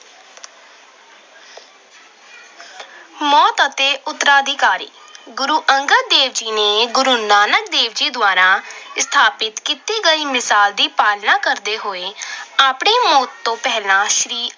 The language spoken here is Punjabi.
ਮੌਤ ਅਤੇ ਉਤਰਾਧਿਕਾਰੀ- ਗੁਰੂ ਅੰਗਦ ਦੇਵ ਜੀ ਨੇ ਗੁਰੂ ਨਾਨਕ ਦੇਵ ਜੀ ਦੁਆਰਾ ਸਥਾਪਤ ਕੀਤੀ ਗਈ ਮਿਸਾਲ ਦੀ ਪਾਲਣਾ ਕਰਦੇ ਹੋਏ ਆਪਣੀ ਮੌਤ ਤੋਂ ਪਹਿਲਾਂ ਸ਼੍ਰੀ